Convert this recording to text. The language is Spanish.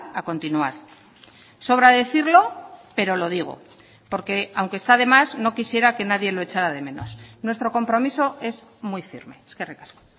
a continuar sobra decirlo pero lo digo porque aunque está demás no quisiera que nadie lo echara de menos nuestro compromiso es muy firme eskerrik asko